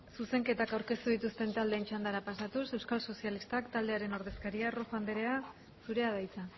zuzenketak aurkeztu dituzten taldeen txandara pasatuz euskal sozialistak taldearen ordezkaria rojo andrea zurea da hitza